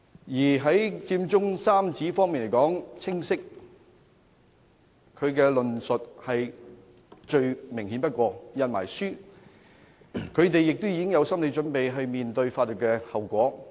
至於佔中三子，他們的論述最清楚不過，甚至已出版書籍，更有心理準備要面對法律後果。